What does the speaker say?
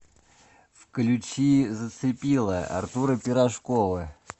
включи зацепила артура пирожкова